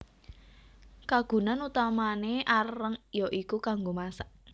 Kagunan utamané areng ya iku kanggo masak